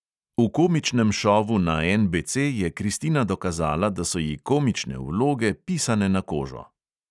V komičnem šovu na NBC je kristina dokazala, da so ji komične vloge pisane na kožo.